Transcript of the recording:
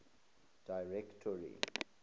directors